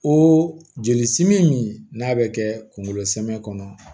O joli simin min n'a bɛ kɛ kunkolo sɛbɛ kɔnɔ